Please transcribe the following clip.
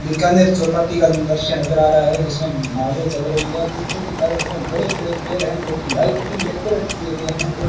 बीकानेर चौपाटी का दृश्य नजर आ रहा है जिसमें नावे चल रही है पीछे की तरह में बड़े बड़े पेड़ है जोकि लाइटिंग डेकोरेट किए गए है और --